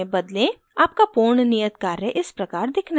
आपका पूर्ण नियत कार्य इस प्रकार दिखना चाहिए